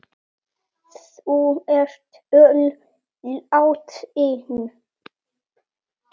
Þau er öll látin.